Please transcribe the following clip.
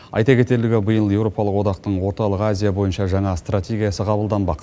айта кетерлігі биыл еуропалық одақтың орталық азия бойынша жаңа стратегиясы қабылданбақ